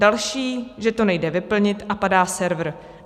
Další, že to nejde vyplnit a padá server.